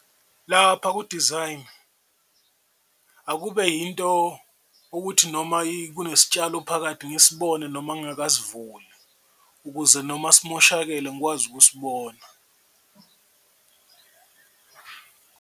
Lapha ku-design akube yinto ukuthi noma kunesitshalo phakathi ngisibone noma ngakasivuli ukuze noma simoshakele ngikwazi ukusibona.